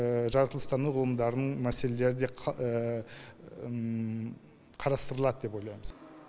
жаралатылыстану ғылымдарының мәселелері де қа қарастырылады деп ойлаймыз